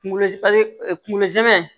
Kunkolo zɛ kungolo zɛmɛ